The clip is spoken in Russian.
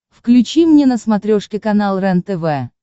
включи мне на смотрешке канал рентв